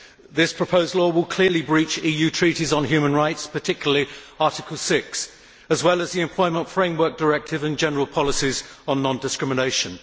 This proposed law will clearly breach EU treaties on human rights, particularly Article 6, as well as the Employment Framework Directive and general policies on non discrimination.